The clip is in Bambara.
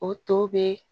O to bɛ